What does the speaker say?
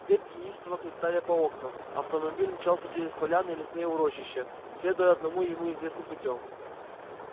ветки неистово хлестали по окнам автомобиль мчался через поляны и лесные урочища следуя одному ему известным путём